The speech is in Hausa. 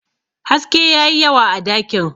haske ya yi yawa a dakin